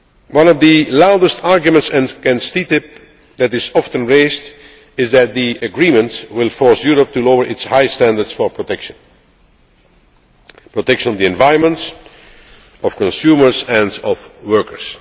One of the loudest arguments against TTIP that is often raised is that the agreement will force Europe to lower its high standards for protection protection of the environment, of consumers and of workers.